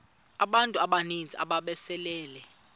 abantu abaninzi ababesele